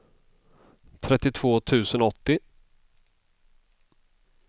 trettiotvå tusen åttio